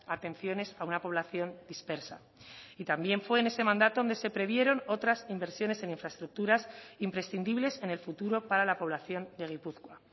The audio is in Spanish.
atenciones a una población dispersa y también fue en ese mandato donde se previeron otras inversiones en infraestructuras imprescindibles en el futuro para la población de gipuzkoa